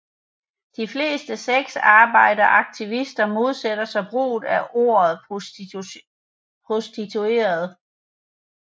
De fleste sexarbejderaktivister modsætter sig brugen af ordet prostitueret